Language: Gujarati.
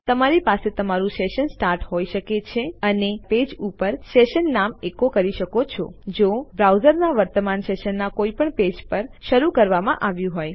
તો તમારી પાસે તમારું સેશન સ્ટાર્ટ હોય શકે છે અને તમારા પેજ ઉપ સેશન નામ એકો કરી શકો છો જો બ્રાઉઝરના વર્તમાન સેશનના કોઇપણ પેજ પર શરુ કરવામાં આવ્યું હોય